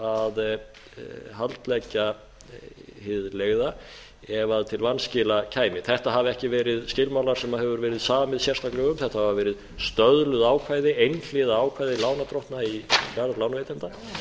að haldleggja hið leigða ef a vanskila kæmi þetta hafa ekki verið skilmálar sem hefur verið samið sérstaklega um þetta hafa verið stöðluð ákvæði einhliða ákvæði lánardrottna í garð lánveitenda